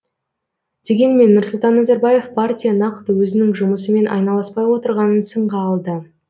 дегенмен нұрсұлтан назарбаев партия нақты өзінің жұмысымен айналыспай отырғанын сынға алды